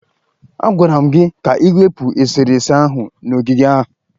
A gwara gị ka ị wepụ esere ese ahụ n'ogige a!